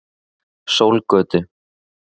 Sólgötu